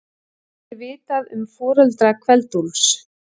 Er vitað um foreldra Kveld-Úlfs?